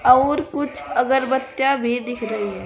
और कुछ अगरबत्तियां भी दिख रही हैं।